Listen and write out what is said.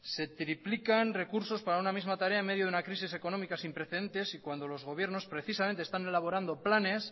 se triplican recursos para una misma tarea en medio de una crisis económica sin precedentes y cuando los gobiernos precisamente están elaborando planes